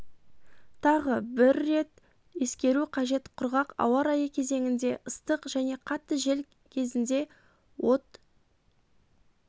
тағы бір рет ескеру қажет құрғақ ауа райы кезеңінде ыстық және қатты жел кезінде от